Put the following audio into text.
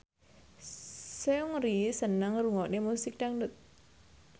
Seungri seneng ngrungokne musik dangdut